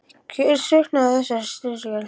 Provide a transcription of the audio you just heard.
Hver á sökina á þessari styrjöld?